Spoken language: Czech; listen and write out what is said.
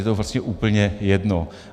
Je to prostě úplně jedno.